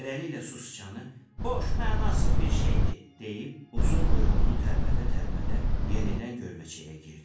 Beləliklə sicanı boş, mənasız bir şeydir deyib, uzun quyruğunu tərpədə-tərpədə yenidən gölməçəyə girdi.